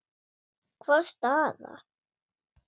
Hvaða staða?